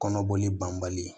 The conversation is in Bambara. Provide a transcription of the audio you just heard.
Kɔnɔboli banbali